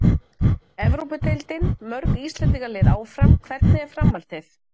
Evrópudeildin: Mörg Íslendingalið áfram- Hvernig er framhaldið?